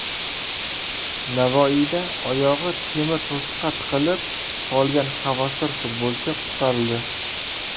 Navoiyda oyog‘i temir to‘siqqa tiqilib qolgan havaskor futbolchi qutqarildi .